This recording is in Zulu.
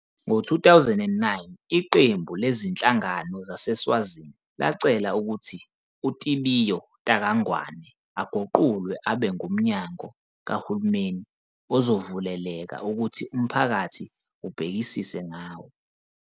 Ngo-2009 iqembu lezinhlangano zaseSwazini lacela ukuthi uTibiyo Taka Ngwane aguqulwe abe ngumnyango kahulumeni ozovuleleka ukuthi umphakathi ubhekisise ngawo.